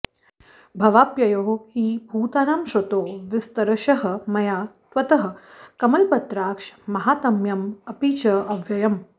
भवाप्ययौ हि भूतानां श्रुतौ विस्तरशः मया त्वत्तः कमलपत्राक्ष माहात्म्यम् अपि च अव्ययम्